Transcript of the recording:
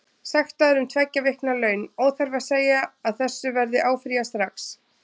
Sektaður um tveggja vikna laun, óþarfi að segja að þessu verður áfrýjað strax.